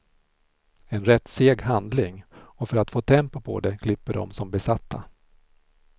En rätt seg handling, och för att få tempo på det klipper de som besatta.